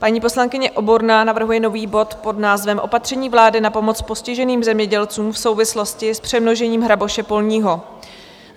Paní poslankyně Oborná navrhuje nový bod pod názvem Opatření vlády na pomoc postiženým zemědělcům v souvislosti s přemnožením hraboše polního.